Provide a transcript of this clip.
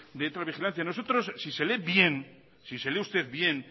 de ultravigilancia nosotros si se lee bien si se lee usted bien